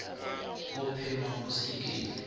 go phema go se iketle